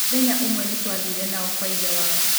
Mũthenya ũmwe nĩ twathire nao kwa ithe wao.